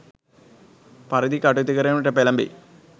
පරිදි කටයුතු කිරීමට පෙලඹෙයි.